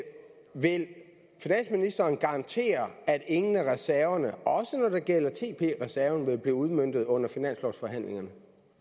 vil finansministeren garantere at ingen af reserverne også når det gælder tb reserven vil blive udmøntet under finanslovsforhandlingerne